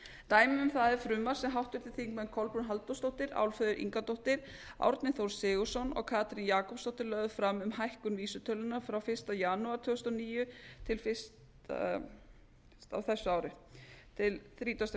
dæmi um það er frumvarp sem háttvirtir þingmenn kolbrún halldórsdóttir álfheiður ingadóttir árni þór sigurðsson og katrín jakobsdóttir lögðu fram um hækkun vísitölunnar frá fyrsta janúar tvö þúsund og níu til þrítugasta og